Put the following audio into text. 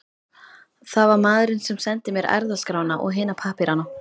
Það var maðurinn sem sendi mér erfðaskrána og hina pappírana.